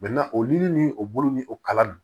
oli ni o bolo ni o kalan ninnu